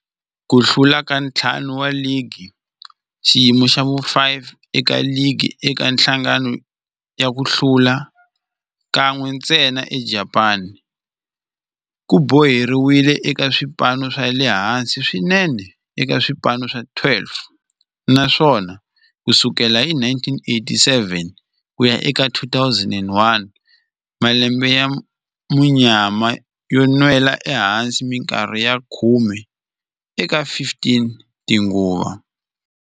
Ku hlula ka ntlhanu wa ligi, xiyimo xa vu-5 eka ligi eka nhlayo ya ku hlula, kan'we ntsena eJapani, ku boheleriwile eka swipano swa le hansi swinene eka swipano swa 12, naswona ku sukela hi 1987 ku ya eka 2001, malembe ya munyama yo nwela ehansi minkarhi ya khume eka 15 tinguva.